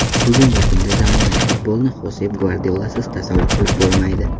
Bugungi kunda zamonaviy futbolni Xosep Gvardiolasiz tasavvur qilib bo‘lmaydi.